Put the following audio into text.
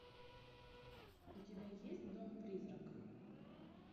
у тебя есть дом призрак